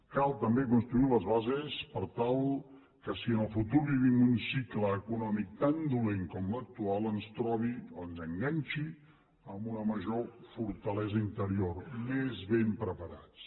cal també construir les bases per tal que si en el futur vivim un cicle econòmic tan dolent com l’actual ens trobi ens enganxi amb una major fortalesa interior més ben preparats